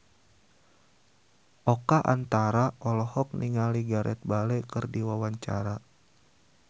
Oka Antara olohok ningali Gareth Bale keur diwawancara